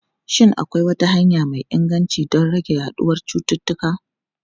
Shin akwai wata hanya mai inganci don rage yaduwar cututtuka?